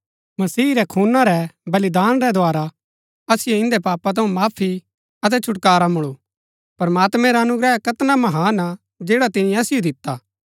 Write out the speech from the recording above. मसीह रै खूना रै बलिदान रै द्धारा असिओ इन्दै पापा थऊँ माफी अतै छुटकारा मुळू प्रमात्मैं रा अनुग्रह कैतना महान हा जैड़ा तिनी असिओ दिता